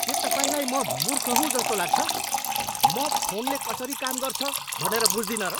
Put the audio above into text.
के तपाईँलाई म मूर्ख हुँ जस्तो लाग्छ? म फोनले कसरी काम गर्छ भनेर बुझ्दिनँ र?